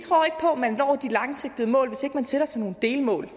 langsigtede mål hvis ikke man sætter sig nogle delmål